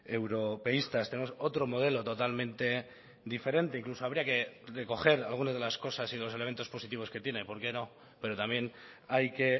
europeístas tenemos otro modelo totalmente diferente incluso habría que recoger alguna de las cosas y los elementos positivos que tiene por qué no pero también hay que